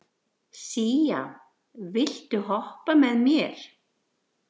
Sía, viltu hoppa með mér?